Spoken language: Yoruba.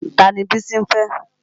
Tani Bísí ń fẹ́?